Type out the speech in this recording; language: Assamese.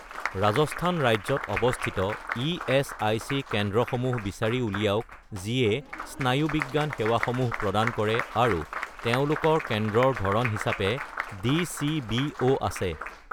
ৰাজস্থান ৰাজ্যত অৱস্থিত ইএচআইচি কেন্দ্ৰসমূহ বিচাৰি উলিয়াওক যিয়ে স্নায়ুবিজ্ঞান সেৱাসমূহ প্ৰদান কৰে আৰু তেওঁলোকৰ কেন্দ্ৰৰ ধৰণ হিচাপে ডি.চি.বি.ও. আছে।